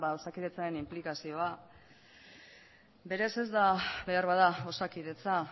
osakidetzaren inplikazioa berez ez da beharbada osakidetza